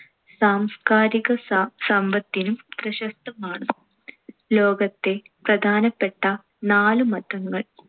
സാംസ്കാരിക സാം~ സമ്പത്തിനു പ്രശസ്തമാണ്‌. ലോകത്തെ പ്രധാനപ്പെട്ട നാലു മതങ്ങൾ.